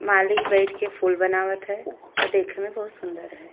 माली बइठ के फूल बनावत है अ देखे में बहुत सुन्दर है।